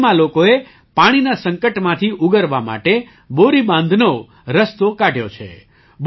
ખૂંટીમાં લોકોએ પાણીના સંકટમાંથી ઉગરવા માટે બોરી બાંધનો રસ્તો કાઢ્યો છે